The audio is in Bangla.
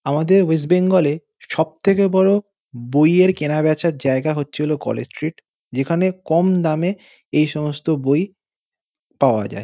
আমাদের ওয়েস্ট বেঙ্গল -এ সব থেকে বড় বইয়ের কেনা বেচার জায়গা হচ্ছিল কলেজ স্ট্রীট যেখানে কম দামে এই সমস্ত বই পাওয়া যায়।